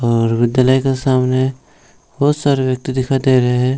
और विद्यालय के सामने बहुत सारे व्यक्ति दिखाई दे रहे हैं।